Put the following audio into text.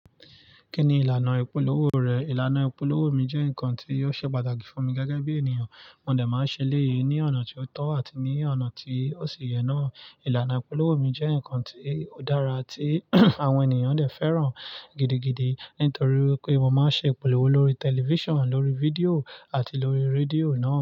Kí ni ìlànà ìpolówó rẹ̀? Ìlànà ìpolówó mi jẹ́ ǹkan tí ó ṣe pàtàkì fún mi gẹ́gẹ́ bí ènìyàn. Mo de máa ń ṣe eléyi ní ọ̀nà tí ó tọ́ àti ní ọ̀nà tí ó ṣi yẹ náà. Ilànà ìpolówó mi jẹ́ ǹkan tí ó dára tí àwọn ènìyàn de fẹ́ràn gidigidi nítorí pé mo máa ń ṣe ìpolówó lórí tẹlifíṣàn, lórí fídíò àti lórí rédíò náà.